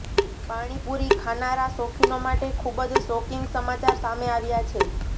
પાણીપુરી ખાનારા શોખીનો માટે ખુબ જ શોકિંગ સમાચાર સામે આવ્યા છે